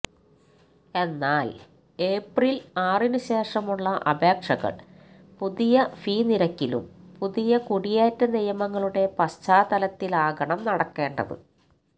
എന്നാല് ഏപ്രില് ആറിനുശേഷമുള്ള അപേക്ഷകള് പുതിയ ഫീ നിരക്കിലും പുതിയ കുടിയേറ്റ നിയമങ്ങളുടെ പശ്ചാത്തലത്തിലാകണം നടക്കേണ്ടത്